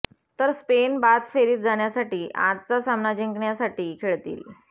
तर स्पेन बाद फेरीत जाण्यासाठी आजचा सामना जिंकण्यासाठी खेळतील